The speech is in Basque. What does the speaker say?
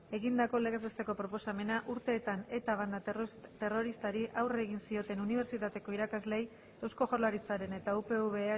egindako legez besteko proposamena urteetan eta banda terroristari aurre egin zioten unibertsitateko irakasleei eusko jaurlaritzaren eta upv